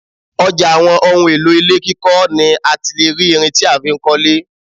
Ọjà àwọn ohùn èlò ilé kíkọ ni àti lè rí ìrìn tí a fi ń kọ lé